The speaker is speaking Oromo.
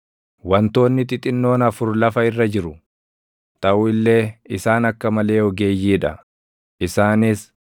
“Wantoonni xixinnoon afur lafa irra jiru; taʼu illee isaan akka malee ogeeyyii dha; isaanis: